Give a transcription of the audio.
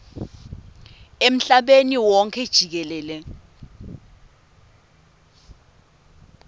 emhlabeni wonkhe jikelele